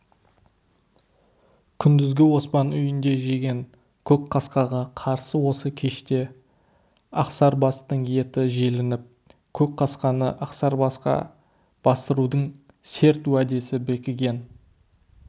күндізгі оспан үйінде жеген көкқасқаға қарсы осы кеште ақсарбастың еті желініп көкқасқаны ақсарбасқа бастырудың серт уәдесі бекіген